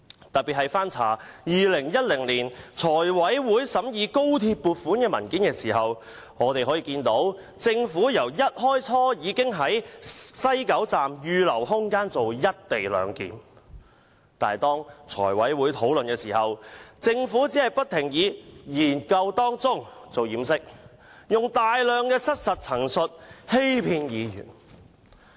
特別是翻查2010年財務委員會審議高鐵工程撥款的文件後，我們得悉政府一開始已在西九龍站預留空間進行"一地兩檢"，但在財委會討論時，政府只是不停以"研究當中"作為掩飾，以大量失實陳述來欺騙議員。